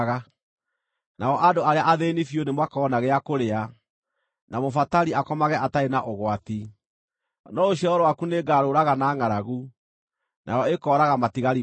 Nao andũ arĩa athĩĩni biũ nĩmakona gĩa kũrĩa, na mũbatari akomage atarĩ na ũgwati. No rũciaro rwaku nĩngarũũraga na ngʼaragu; nayo ĩkooraga matigari maku.